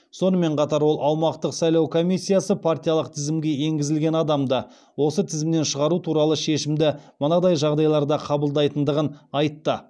сонымен қатар ол аумақтық сайлау комиссиясы партиялық тізімге енгізілген адамды осы тізімнен шығару туралы шешімді мынадай жағдайларда қабылдайтындығын айтты